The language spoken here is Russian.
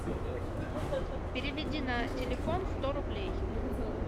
переведи на телефон сто рублей